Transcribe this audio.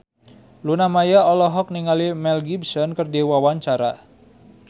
Luna Maya olohok ningali Mel Gibson keur diwawancara